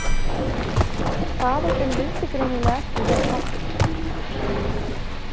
Faðir þinn vildi greinilega ekki vera pabbi.